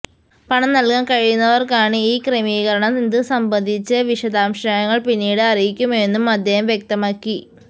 പണം നല്കാന് കഴിയുന്നവര്ക്കാണ് ഈ ക്രമീകരണം ഇത് സംബന്ധിച്ച് വിശദാംശങ്ങള് പിന്നീട് അറിയിക്കുമെന്നും അദ്ദേഹം വ്യക്തമാക്കി